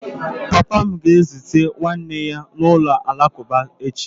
Papa m ga-ezute nwanne ya n'ụlọ alakụba echi.